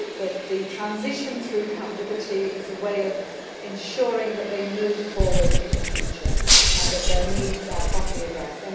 I hope that the transition through Camp Liberty is a way of ensuring that they move forward in the future and that their needs are properly addressed.